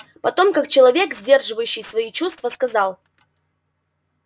потом как человек сдерживающий свои чувства сказал